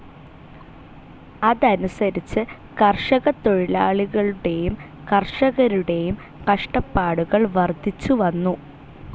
അതനുസരിച്ച് കർഷകത്തൊഴിലാളികളുടേയും കർഷകരുടേയും കഷ്ടപ്പാടുകൾ വർദ്ധിച്ചുവന്നു.